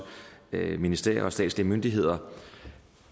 ministerier og statslige myndigheder